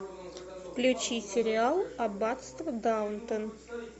включи сериал аббатство даунтон